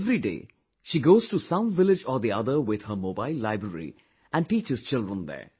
Every day she goes to some village or the other with her mobile library and teaches children there